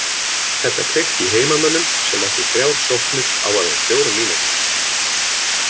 Þetta kveikti í heimamönnum sem áttu þrjár sóknir á aðeins fjórum mínútum.